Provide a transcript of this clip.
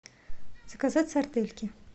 заказать сардельки